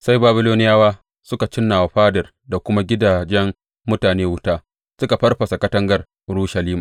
Sai Babiloniyawa suka cinna wa fadar da kuma gidajen mutane wuta suka farfasa katangar Urushalima.